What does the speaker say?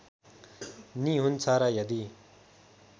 नि हुन्छ र यदि